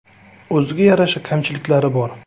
O‘ziga yarasha kamchiliklar bor.